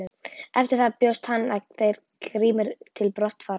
Eftir það bjóst hann og þeir Grímur til brottfarar.